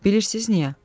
Bilirsiz niyə?